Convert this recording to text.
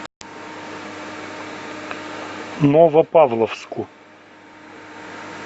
новопавловску